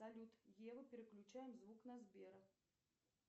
салют ева переключаем звук на сбера